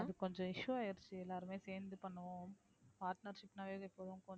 அது கொஞ்சம் issue ஆயிருச்சு எல்லாருமே சேர்ந்து பண்ணுவோம் partnership